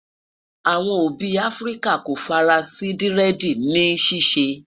àwọn òbí áfríkà kò fara sí diredi ni ṣiṣẹ